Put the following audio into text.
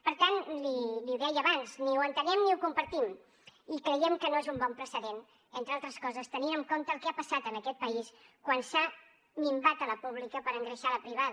per tant li ho deia abans ni ho entenem ni ho compartim i creiem que no és un bon precedent entre altres coses tenint en compte el que ha passat en aquest país quan s’ha minvat la pública per engreixar la privada